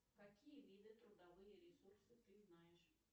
какие виды трудовые ресурсы ты знаешь